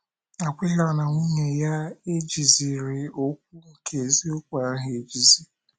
Akwịla na nwunye ya, ejiziri okwu nke eziokwu ahụ ejizi?